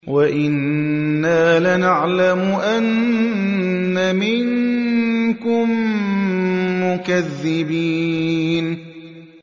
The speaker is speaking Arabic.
وَإِنَّا لَنَعْلَمُ أَنَّ مِنكُم مُّكَذِّبِينَ